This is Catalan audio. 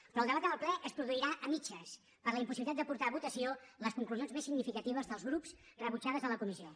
però el debat en el ple es produirà a mitges per la impossibilitat de portar a votació les conclusions més significatives dels grups rebutjades a la comissió